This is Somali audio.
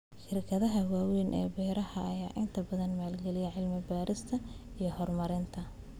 Shirkadaha waaweyn ee beeraha ayaa inta badan maalgeliya cilmi baarista iyo horumarinta.